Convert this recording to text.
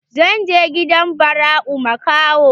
Zan je gidan Barau makaho.